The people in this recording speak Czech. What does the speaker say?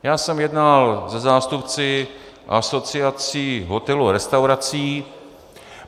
Já jsem jednal se zástupci Asociace hotelů a restaurací...